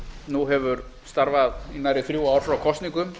nú hefur starfað í nærri þrjú ár frá kosningum